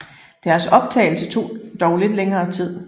Deres optagelse tog dog lidt længere tid